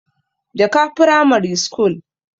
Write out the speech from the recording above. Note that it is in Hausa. jaka pramare school